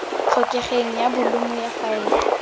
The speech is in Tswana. tlhokegeng ya bolumo ya faele